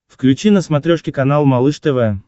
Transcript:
включи на смотрешке канал малыш тв